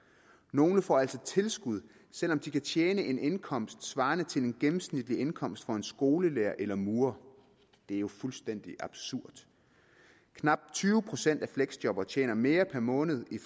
nogle får altså tilskud selv om de kan tjene en indkomst svarende til den gennemsnitlige indkomst for en skolelærer eller en murer det er jo fuldstændig absurd knap tyve procent af fleksjobberne tjener mere per måned i